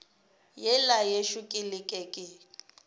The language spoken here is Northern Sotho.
yela yešo ka leke ke